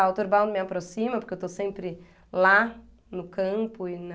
A Outerbound me aproxima porque eu estou sempre lá no campo e na...